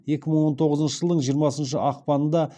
екі мың он тоғызыншы жылдың жиырмасыншы ақпанында